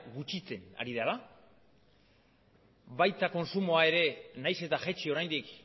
gutxitzen ari dela baita kontsumoa ere nahiz eta jaitsi oraindik